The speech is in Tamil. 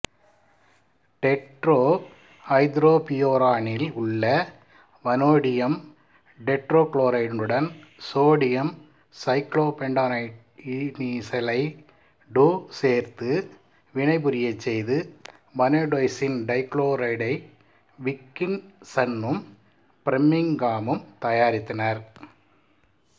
டெட்ரா ஐதரோபியூரானில் உள்ள வனேடியம் டெட்ராகுளொரைடுடன் சோடியம் சைக்ளோபெண்டாடையீனைலைடு சேர்த்து வினைபுரியச் செய்து வனேடோசின் டைகுளோரைடை விக்கின்சன்னும் பிரிம்மிங்காமும் தயாரித்தனர்